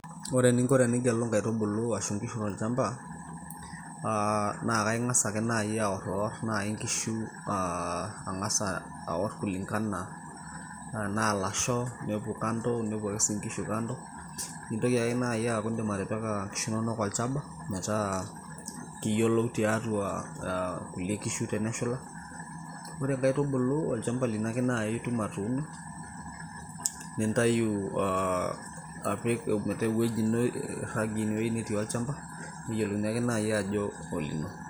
ore eninko tenigelu inkaitubulu ashu inkishu tolchamba naa kaing'as ake naaji aworriwor naaji inkishu ang'asa aworr kulingana tenaa ilasho nepuo kando nepuo ake sii inkishu kando nintoki ake naaji aaku indim atipika inkishu inonok olchaba metaa kiyiolou tiatua kulie kishu teneshula ore inkaitubulu olchamba lino ake naaji itum atuuno nintayu apik metaa ewueji ino irragie ine wueji netii olchamba neyiolouni naaji ake ajo olino.